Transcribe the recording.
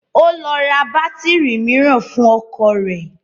Ó lọ ra bátírì mìíràn fún ọkọ̀ rẹ̀